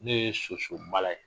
Ne ye sosomala ye